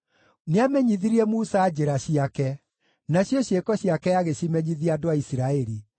Nĩamenyithirie Musa njĩra ciake, nacio ciĩko ciake agĩcimenyithia andũ a Isiraeli: